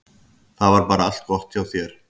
Það var bara allt gott hjá þér.